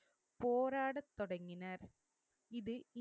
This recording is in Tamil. போராடத்தொடங்கினர். இது